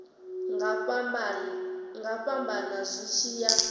nga fhambana zwi tshi ya